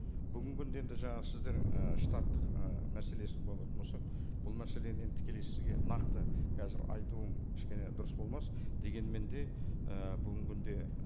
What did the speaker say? бүгінгі күнде енді жаңағы сіздің і штаттық і мәселесін болатын болсақ бұл мәселені енді тікелей сізге нақты қазір айтуым кішкене дұрыс болмас дегенмен де і бүгінгі күнде